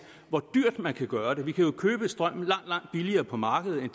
hvor dyrt man kan gøre det vi kan jo købe strømmen langt langt billigere på markedet i